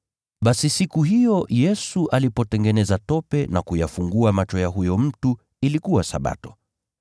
Basi siku hiyo Yesu alipotengeneza tope na kuyafungua macho ya huyo mtu ilikuwa Sabato.